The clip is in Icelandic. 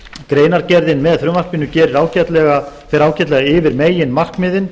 greinargerðin með frumvarpinu fer ágætlega yfir meginmarkmiðin